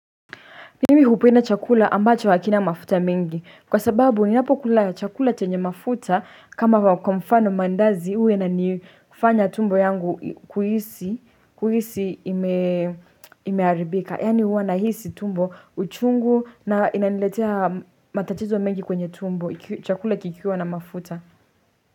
Mimi hupenda chakula ambacho hakina mafuta mingi kwa sababu ni napo kula chakula chenye mafuta kama wakomfano mandazi uwe na ni kufanya tumbo yangu kuhisi imearibika Yani uwa na hisi tumbo uchungu na inaniletea matatizo mengi kwenye tumbo chakula kikiwa na mafuta.